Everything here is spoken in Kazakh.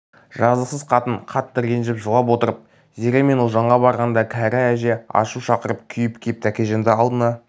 жазықсыз қатын қатты ренжіп жылап отырып зере мен ұлжанға барғанда кәрі әже ашу шақырып күйіп кеп тәкежанды алдына